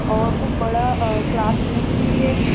और खूब बड़ा अअ क्लासरूम है ये--